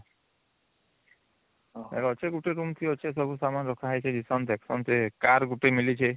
ତାଇନରେ ଅଛି ଗୋଟେ room ଟି ଅଛି ସବୁ ସାମାନ ରଖା ହେଇଛି car ଗୋଟେ ମିଳିଛି